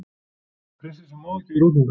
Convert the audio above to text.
Prinsessan má ekki vera útundan